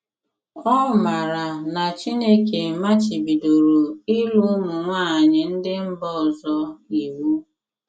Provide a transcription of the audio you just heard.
Ọ maara na Chineke machibidoro ịlụ ụmụ nwanyị ndị mba ọzọ iwu.